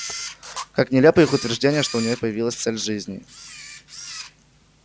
как нелепо их утверждение что у нее появилась цель жизни